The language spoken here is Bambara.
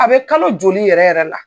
A bɛ kalo joli yɛrɛ yɛrɛ la.